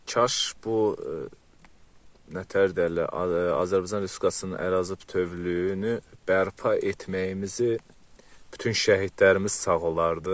Kaş bu nə təhər deyərlər, Azərbaycan Respublikasının ərazi bütövlüyünü bərpa etməyimizi bütün şəhidlərimiz sağ olardı.